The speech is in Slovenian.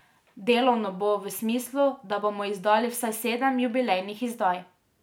Delovno bo v smislu, da bomo izdali vsaj sedem jubilejnih izdaj.